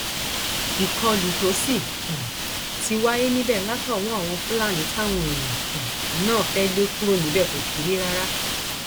ìkọlù tó sì um ti wáyé níbẹ látọwọ àwọn fúlàní táwọn èèyàn um náà fẹẹ lè kúrò níbẹ kò kéré rárá